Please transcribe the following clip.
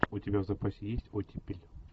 у тебя в запасе есть оттепель